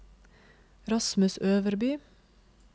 Rasmus Øverby